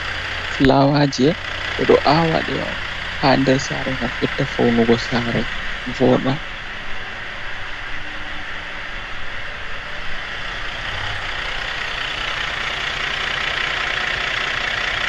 Fulawaje be do awa de on ha der sare ,ngam bedda faunugo sare voda.